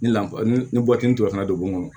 Ni lafiya ni bubatifana donkɔn